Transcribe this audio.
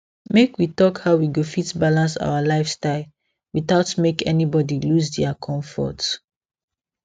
make we talk how we go fit balance our lifestyle without make anybody lose their comfort